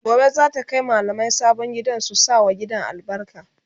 Gobe zata Kai mallamai sabon gidan su sa wa gidan albarka